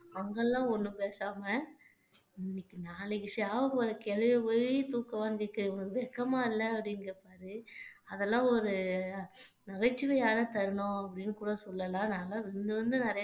அங்கெல்லாம் ஒண்ணும் பேசாம இன்னைக்கு நாளைக்கு சாவப்போற கிழவியை போயி தூக்கம் வந்துட்டு வெட்கமா இல்ல அப்படின்னு கேட்பாரு அதெல்லாம் ஒரு நகைச்சுவையான தருணம் அப்படின்னு கூட சொல்லலாம் நாங்க விழுந்து விழுந்து நிறைய